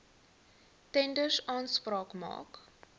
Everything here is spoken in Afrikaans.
tenders aanspraak maak